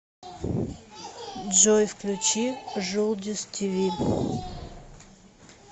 джой включи жулдиз ти ви